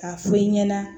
K'a fɔ i ɲɛna